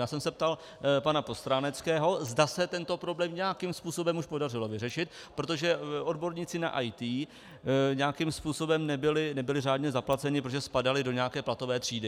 Já jsem se ptal pana Postráneckého, zda se tento problém nějakým způsobem už podařilo vyřešit, protože odborníci na IT nějakým způsobem nebyli řádně zaplaceni, protože spadali do nějaké platové třídy.